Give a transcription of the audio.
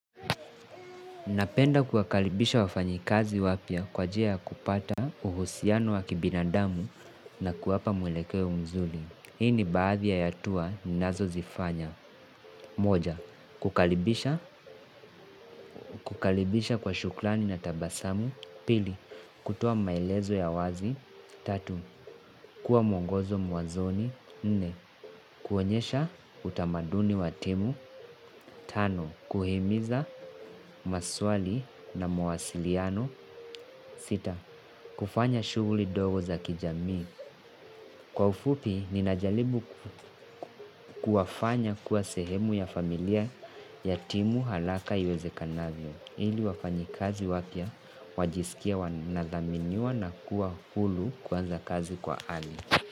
Napenda kuwakaribisha wafanyakazi wapya kwaajili ya kupata uhusiano wa kibinadamu na kuwapa mwelekeo mzuri. Hii ni baadhi ya yatua ninazo zifanya. Moja, kukaribisha, kukaribisha kwa shukrani na tabasamu. Pili, kutoa maelezo ya wazi. Tatu, kuwa mwongozo mwazoni. Nne, kuonyesha utamaduni wa timu. Tano, kuhimiza maswali na mawasiliano. sita. Kufanya shughuli dogo za kijami. Kwa ufupi, ninajaribu kuwafanya kuwa sehemu ya familia ya timu haraka iwezekanavyo. Ili wafanyakazi wapya, wajisikie wanadhaminiwa na kuwa huru kuanza kazi kwa ali.